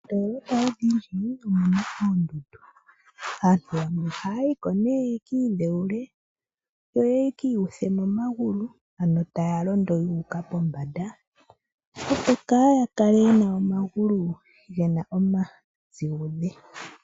Moondoolopa odhindji omuna oondundu, aantu yamwe ohaya yi ko yekiidhewule yo yekiiyuthe momagulu. Ano taya londo yuuka pombanda opo kaaya kale ye na omagulu gena omazigudhe.